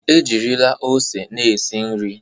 Ejirila ose na-esi nri.